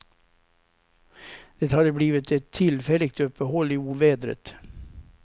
Det hade blivit ett tillfälligt uppehåll i ovädret.